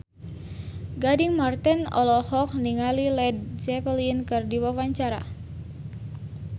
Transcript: Gading Marten olohok ningali Led Zeppelin keur diwawancara